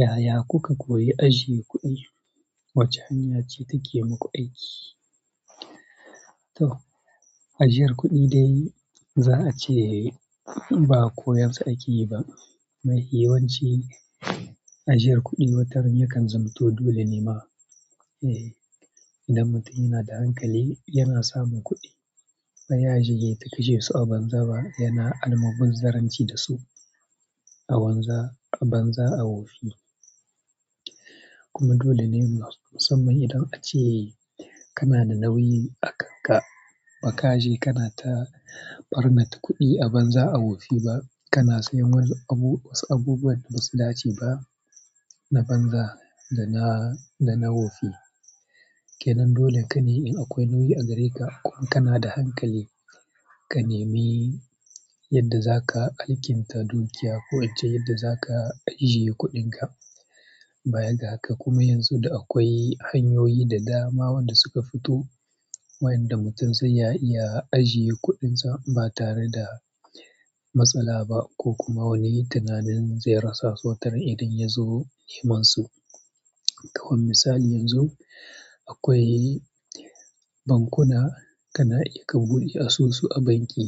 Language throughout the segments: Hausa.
Yaya kuka koyi ajiye kuɗi? Wace hanya ce take muku aiki? To, ajiyar kuɗi dai za a ce ba koyar sa aki yiba. Mafi yawanci ajiyar kuɗi wataran yakan zamto dole ne ma. Eh, idan mutum yana da hankali yana samun kuɗi. Bayaje yai ta kashesu a banza ba yana almubazzaranci da su. A banza, a banza a wofi. Dolene musamman ace kana da nauyi akanka, bakaje kana ta barnata kuɗi a banza a wofi ba kana siyan wasu abubuwan da basu dace ba na banza dana wofi ke nan dole ka nemi in akwai nauyi a gare ka ko kana da hankali, ka nemi yadda za ka alkinta dokiya ko wacce yadda za ka ajiye kuɗinka. Bayan ga haka kuma yanzu da akwai hanyoyi da dama wanda suka fito wayanda mutum zai iya ajiye kuɗinsa ba tare da matsala ba ko kuma wani tunanin zai rasa sautarin idan ya zo neman su. Kawai misali yanzu akwai bankuna kana iya ka buɗe asusu a banki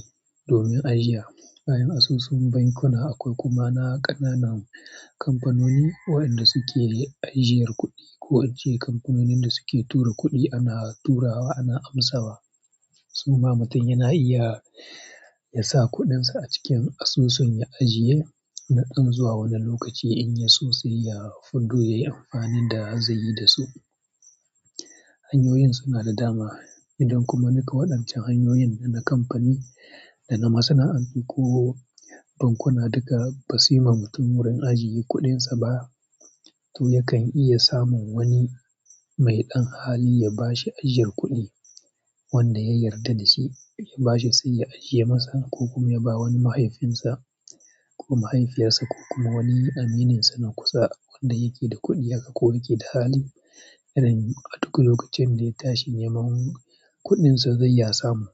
domin ajiya bayan asusun bankuna akwai kuma na ƙananan kamfanoni waɗanda suke ajiyar kuɗi ko ince kamfanonin da suke tura kuɗi ana tura wa ana amsawa. Su ma mutum yana iya ya sa kuɗinsa a cikin asusun ya ajiye na dan zuwa wani lokaci in ya so sai ya fito yayi amfanin da zaiyi da su. Hanyoyin suna da dama idan kuma duka waɗancan hanyoyin da na kamfani da na masana'antu ko bankuna duka ba su yi ma mutum wurin ajiye kuɗinsa ba, to yakan iya samun wani mai ɗan hali ya bashi ajiyar kuɗi wanda ya yarda da su ya bashi sai ya ajiye masa ko kuma ya ba wani mahaifinsa ko mahaifiyarsa ko kuma wani amininsa na kusa wanda yake da kuɗi haka ko yake da hali. Yanayi a duk lokacin da ya tashi neman kuɗinsa zai ya samu.